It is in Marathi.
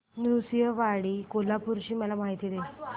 नृसिंहवाडी कोल्हापूर ची मला माहिती दे